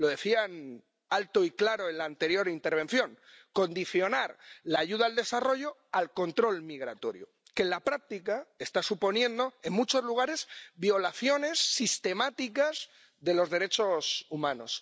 Lo decían alto y claro en la anterior intervención condicionar la ayuda al desarrollo al control migratorio, que, en la práctica, está suponiendo en muchos lugares violaciones sistemáticas de los derechos humanos.